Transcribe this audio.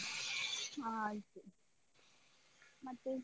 ಹ ಆಯ್ತು ಮತ್ತೆ.